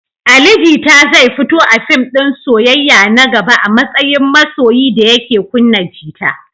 Ali Jita zai fito a fim din soyayya na gaba a matsayin masoyi da yake kunna gita.